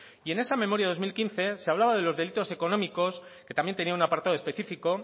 en ese memoria dos mil quince se hablaba de los delitos económicos que también tenía un apartado específico